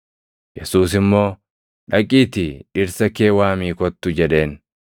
Yesuus immoo, “Dhaqiitii dhirsa kee waamii kottu!” jedheen.